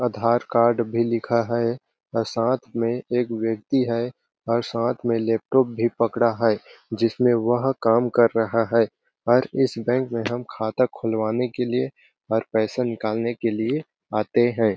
आधार card भी लिखा है व साथ मे एक व्यक्ति है और साथ मे लैपटॉप भी पकड़ा है जिसमें वह काम कर रहा है और इस बैंक में हम खाता खुलवाने के लिए और पैसे निकालने के लिए आते है।